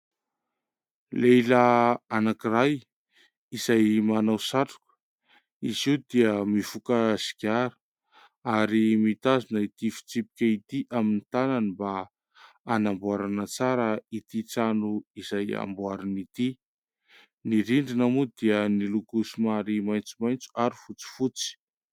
Lehilahy anankiray izay manao satroka, izy io dia mifoka sigara, ary mitazona ity fitsipika ity amin'ny tànany mba hanamboarana tsara ity trano izay amboariny ity. Ny rindrina moa dia miloko somary maitsomaitso ary fotsifotsy.